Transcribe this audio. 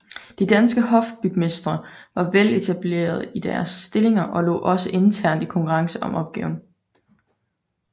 De danske hofbygmestre var veletablerede i deres stillinger og lå også internt i konkurrence om opgaverne